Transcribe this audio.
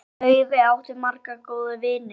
Laufey átti marga góða vini.